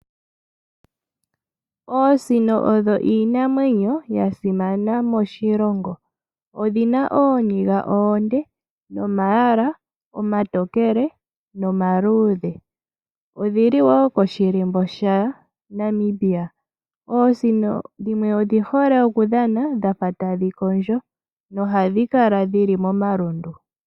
Oosino odho iinamwenyo ya simana moshilongo, odhina ooniga oonde nomalwaala omatokele nomaluudhe, odhili woo koshilimbo shaNamibia. Oosino dhimwe odhi hole oku dhana dhafa tadhi kondjo, nohadhi kala dhili momalundu.